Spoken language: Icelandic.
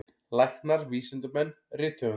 Læknar, vísindamenn, rithöfundar.